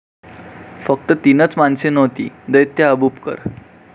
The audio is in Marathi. फक्त तीनच माणसे नव्हती दैत्य अबूबकर.